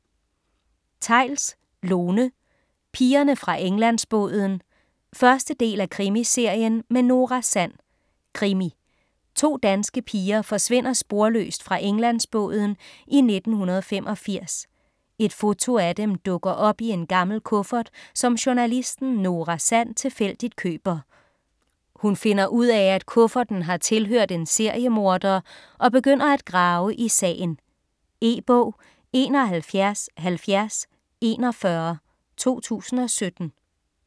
Theils, Lone: Pigerne fra Englandsbåden 1. del af Krimiserien med Nora Sand. Krimi. To danske piger forsvinder sporløst fra Englandsbåden i 1985. Et foto af dem dukker op i en gammel kuffert, som journalisten Nora Sand tilfældigt køber. Hun finder ud af, at kufferten har tilhørt en seriemorder, og begynder at grave i sagen. E-bog 717041 2017.